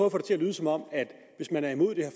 at få det til at lyde som om at hvis man er imod det